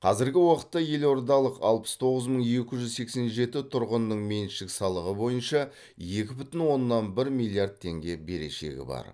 қазіргі уақытта елордалық алпыс тоғыз мың екі жүз сексен жеті тұрғынның меншік салығы бойынша екі бүтін оннан бір миллиард теңге берешегі бар